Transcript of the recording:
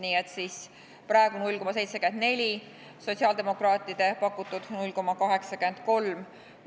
Nii et praegu on 0,74%, sotsiaaldemokraadid pakuvad 0,83%.